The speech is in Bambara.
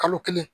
Kalo kelen